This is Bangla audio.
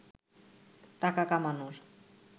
টাকা কামানোর